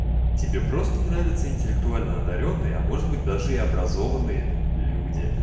тебе просто нравятся интеллектуально-одаренные а может быть даже и образованные люди